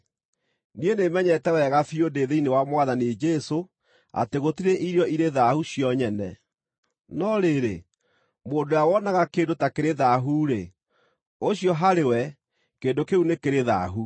Niĩ nĩmenyete wega biũ ndĩ thĩinĩ wa Mwathani Jesũ, atĩ gũtirĩ irio irĩ thaahu cio nyene. No rĩrĩ, mũndũ ũrĩa wonaga kĩndũ ta kĩrĩ thaahu-rĩ, ũcio harĩ we kĩndũ kĩu nĩ kĩrĩ thaahu.